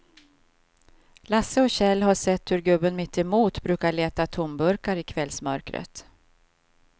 Lasse och Kjell har sett hur gubben mittemot brukar leta tomburkar i kvällsmörkret.